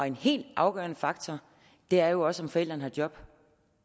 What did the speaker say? en helt afgørende faktor er jo også om forældrene har job